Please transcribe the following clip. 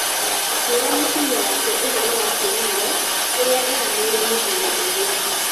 Akĩĩra mũtumia wake ũhoro wa kĩĩranĩro kĩrĩa eranĩire mũthuri ũrĩa.